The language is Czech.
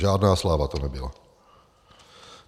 Žádná sláva to nebyla.